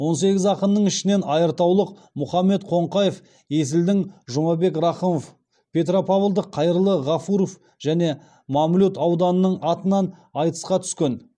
он сегіз ақынның ішінен айыртаулық мұхаммед қоңқаев есілдің жұмабек рақымов петропавлдық қайырлы ғафуров